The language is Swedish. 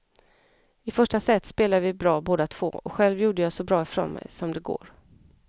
I första set spelade vi bra båda två och själv gjorde jag så bra ifrån mig som det går.